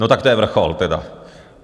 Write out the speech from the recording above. No, tak to je vrchol tedy.